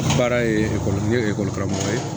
Baara ye ekɔli karamɔgɔ ye